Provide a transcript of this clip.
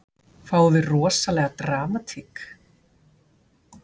Fáum við rosalega dramatík?